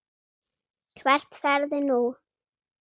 Hvert ferðu nú?